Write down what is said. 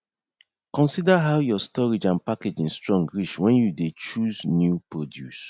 consider how your storage and packaging strong reach when you dey chose new produce